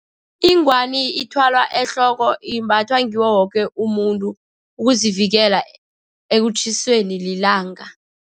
Ingwani ithwalwa ehloko, imbathwa ngiwo woke umuntu ukuzivikela ekutjhisweni lilanga.